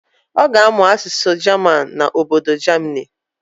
Ọ ga-amụ asụsụ jaman n'obodo jamini.